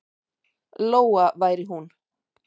Lóa væri hún.